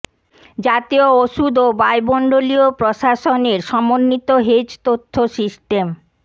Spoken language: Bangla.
জাতীয় ওষুধ ও বায়ুমণ্ডলীয় প্রশাসন এর সমন্বিত হেজ তথ্য সিস্টেম